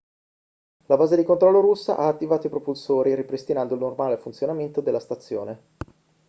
la base di controllo russa ha attivato i propulsori ripristinando il normale funzionamento della stazione